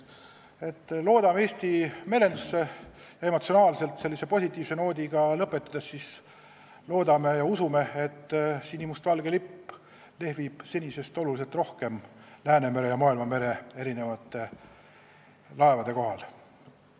Me usume Eesti merendusse ja emotsionaalselt sellise positiivse noodiga lõpetades loodame, et sinimustvalge lipp lehvib senisest oluliselt rohkem Läänemere ja maailmamere erinevate laevade kohal.